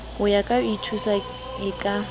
ya ho ithuisa e ka